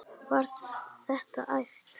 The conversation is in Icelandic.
Var þetta æft?